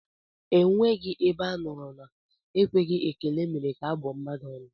Enweghị ebe a nụrụ na ekweghị ekele mere ka a bụọ mmadụ ọnụ